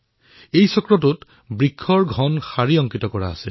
এই বৃত্তত ঘন খোজৰ প্ৰতিচ্ছবি আছে